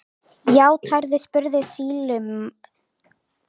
Játarðu, spurði sýslumaður.